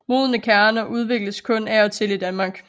Modne kerner udvikles kun af og til i Danmark